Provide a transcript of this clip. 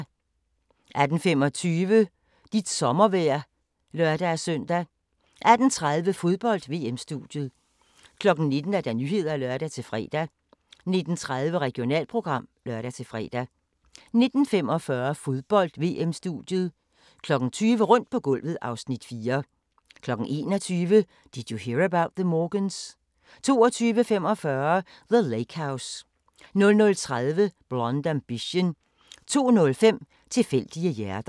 18:25: Dit sommervejr (lør-søn) 18:30: Fodbold: VM-studiet 19:00: Nyhederne (lør-fre) 19:30: Regionalprogram (lør-fre) 19:45: Fodbold: VM-studiet 20:00: Rundt på gulvet (Afs. 4) 21:00: Did You Hear About the Morgans? 22:45: The Lake House 00:30: Blonde Ambition 02:05: Tilfældige hjerter